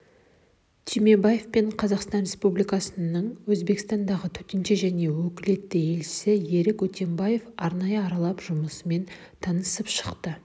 түймебаев пен қазақстан республикасының өзбекстандағы төтенше және өкілетті елшісі ерік өтембаев арнайы аралап жұмысымен танысыпшықты